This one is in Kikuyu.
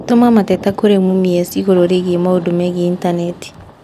tũma mateta kũrĩ mumias igũrũ rĩgiĩ maũndũ megiĩ Intaneti